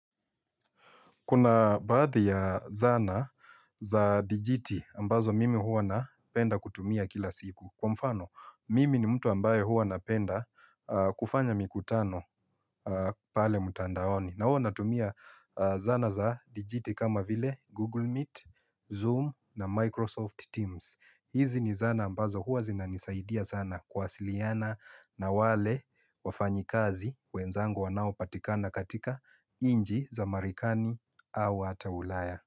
Kuna baadhi ya zana za dijiti ambazo mimi huwa napenda kutumia kila siku. Kwa mfano, mimi ni mtu ambaye huwa napenda kufanya mikutano pale mtandaoni. Kwa mfano, mimi ni mtu ambaye huwa napenda kufanya mikutano pale mtandaoni. Hizi ni zana ambazo huwa zina nisaidia sana kuwa siliana na wale wafanyi kazi wenzangu wanao patikana katika nchi za marekani au hata ulaya.